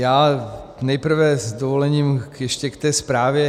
Já nejprve s dovolením ještě k té zprávě.